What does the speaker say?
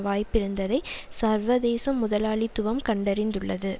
வாய்ப்பிருப்பதை சர்வதேச முதலாளித்துவம் கண்டறிந்துள்ளது